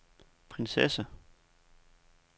prinsesse